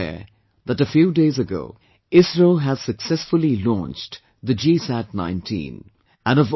We are all aware that a few days ago, ISRO has successfully launched the GSAT19